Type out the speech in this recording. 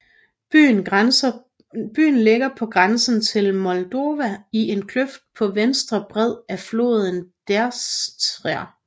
Byen ligger på grænsen til Moldova i en kløft på venstre bred af floden Dnestr